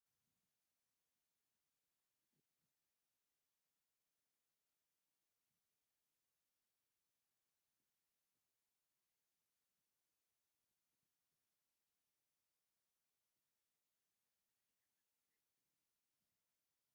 ሰራሕተኛታት ኣብ ኩሉ ቦታ ይረኣዩ። ንብረት ህንጻ ኣብ ኵምራታት ሑጻን ኣእማንን ይረአ። እዚ ኩሉ ንጥፈት እዚ ንህይወት ናይቲ መጻኢ ህንጻ ዘርኢ እዩ። እዚ ህንጻ ክዛዘም ክንደይ ግዜ ክወስድ እዩ?